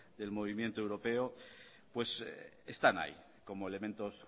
del movimiento europeo pues están ahí como elementos